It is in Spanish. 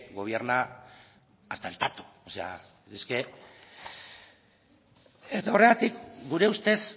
gobierna hasta el tato o sea es que eta horregatik gure ustez